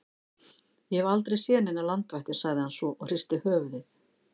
Ég hef aldrei séð neinar landvættir sagði hann svo og hristi höfuðið.